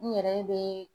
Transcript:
N yɛrɛ bɛ